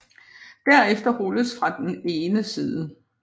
Derefter rulles fra den ene ende